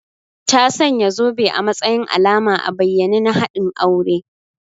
Ta sanya zobe a matsayin alama a bayyane na haɗin aure